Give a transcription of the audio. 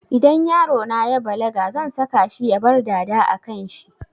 Idan yarona ya balaga zan saka shi ya bar dada a kanshi